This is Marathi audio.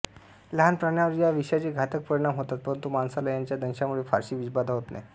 लहान प्राण्यांवर या विषाचे घातक परिणाम होतात परंतु माणसाला याच्या दंशामुळे फारशी विषबाधा होत नाही